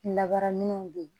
Labara min don